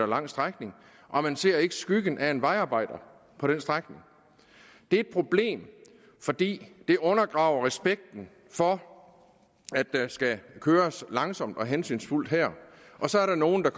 lang strækning og man ser ikke skyggen af en vejarbejder på den strækning det er et problem fordi det undergraver respekten for at der skal køres langsomt og hensynsfuldt her og så er der nogle der